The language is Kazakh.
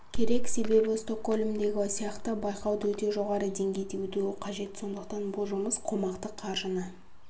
керек себебі стокгольмдегі сияқты байқау өте жоғары деңгейде өтуі қажет сондықтан бұл жұмыс қомақты қаржыны